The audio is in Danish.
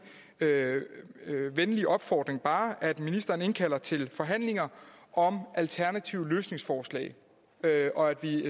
venlige opfordring bare at ministeren indkalder til forhandlinger om alternative løsningsforslag og at vi